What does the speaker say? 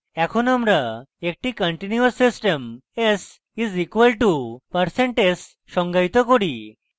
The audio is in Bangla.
এখন আমরা একটি continuous system s is equal to percent s সংজ্ঞায়িত করি এবং